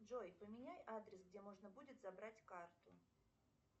джой поменяй адрес где можно будет забрать карту